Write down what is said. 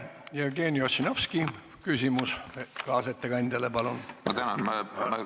Jevgeni Ossinovski, küsimus kaasettekandjale, palun!